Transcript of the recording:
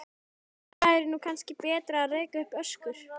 Þá er nú kannski betra að reka upp öskur.